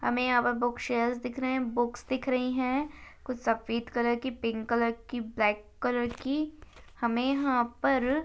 हमें यहाँ पर बुक शेल्स दिख रहे है बुकस दिख रही है कुछ सफ़ेद कलर की पिंक कलर की ब्लैक कलर की हमें यहाँ पर --